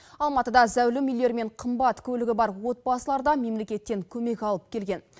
алматыда зәулім үйлері мен қымбат көлігі бар отбасылар да мемлекеттен көмек алып келген